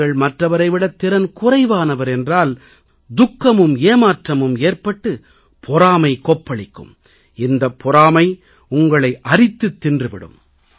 நீங்கள் மற்றவரை விடத் திறன் குறைவானவர் என்றால் துக்கமும் ஏமாற்றமும் ஏற்பட்டு பொறாமை கொப்பளிக்கும் இந்தப் பொறாமை உங்களை அரித்துத் தின்று விடும்